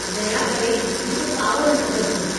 दया करे मूं ते कावड़ि न कजो।